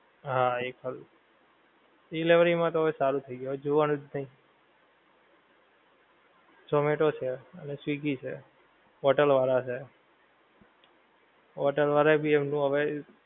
હા એ ખરું. ડિલિવરી માં તો હવે સારું થઈ ગ્યું હવે જોવાનું જ નહિ. ઝોમેટો છે અને સ્વીગી છે, હોટેલ વાળાં છે. હોટેલ વાળાં ભી એમનું હવે,